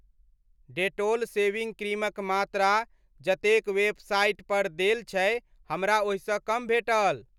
Dettol shaving क्रीमक मात्रा जतेक वेबसाइट पर देल छै हमरा ओहिसँ कम भेटल।